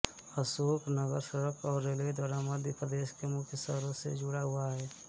अशोकनगर सड़क और रेलवे द्वारा मध्य प्रदेश के मुख्य शहरों से जुड़ा हुआ है